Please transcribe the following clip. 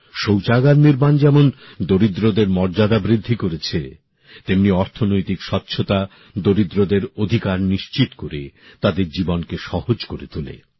শৌচাগার নির্মাণ যেমন দরিদ্রদের মর্যাদা বৃদ্ধি করেছে তেমনি অর্থনৈতিক স্বচ্ছতা দরিদ্রদের অধিকার নিশ্চিত করে তাদের জীবনকে সহজ করে তোলে